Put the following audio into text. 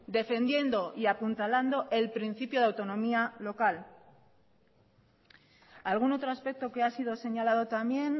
defendiendo y apuntalando el principio de autonomía local algún otro aspecto que ha sido señalado también